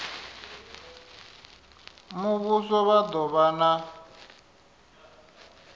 muvhuso vha do vha na